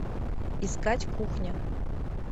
искать кухня